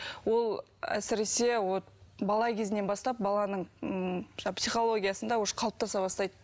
ол әсіресе вот бала кезінен бастап баланың м жаңағы психологиясында уже қалыптаса бастайды